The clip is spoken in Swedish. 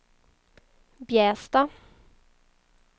Bjästa